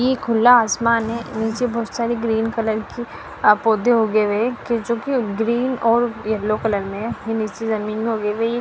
ये खुला आसमान है नीचे बहुत सारे ग्रीन कलर के अ पौधे उगे हुए हैं कि जोकि ग्रीन और यलो कलर में हैं --